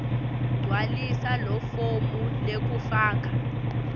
gcwalisa lifomu lekufaka